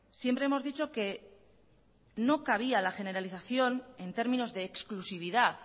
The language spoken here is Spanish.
siempre hemos dicho que no cabía la generalización en términos de exclusividad